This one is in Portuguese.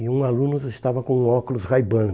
E um aluno estava com um óculos Ray-Ban.